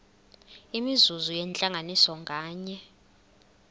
imizuzu yentlanganiso nganye